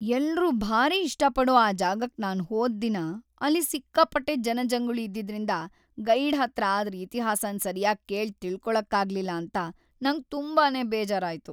ಎಲ್ರೂ ಭಾರೀ ಇಷ್ಟಪಡೋ ಆ ಜಾಗಕ್‌ ನಾನ್‌ ಹೋದ್‌ ದಿನ ಅಲ್ಲಿ ಸಿಕ್ಕಾಪಟ್ಟೆ ಜನಜಂಗುಳಿ ಇದ್ದಿದ್ರಿಂದ ಗೈಡ್‌ ಹತ್ರ ಅದ್ರ ಇತಿಹಾಸನ ಸರ್ಯಾಗ್ ಕೇಳ್‌ ತಿಳ್ಕೊಳಕ್ಕಾಗ್ಲಿಲ್ಲ ಅಂತ ನಂಗ್ ತುಂಬಾನೇ ಬೇಜಾರಾಯ್ತು.